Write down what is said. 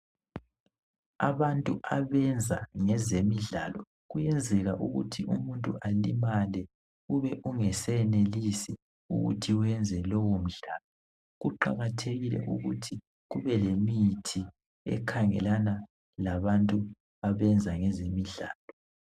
Abantu abenza ngezemidlalo kuyenzeka ukuthi umuntu alimale ube ungasenelisi ukuthi uyenze lowo mdlalo. Kuqakathekile ukuthi kube lemithi ekhangelana labantu abenza ngezemidlalo.